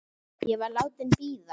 Ég var látin bíða.